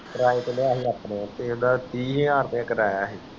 ਕਰਾਏ ਤੇ ਨਹੀਂ ਆਪਣੇ ਤੇ ਓਹਦਾ ਤੀ ਹਜ਼ਾਰ ਰੁਪਏ ਕਰਾਯਾ ਸੀ